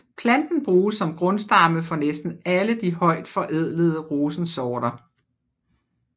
Planten bruges som grundstamme for næsten alle de højt forædlede rosensorter